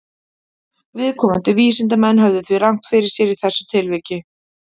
Viðkomandi vísindamenn höfðu því rangt fyrir sér í þessu tilviki.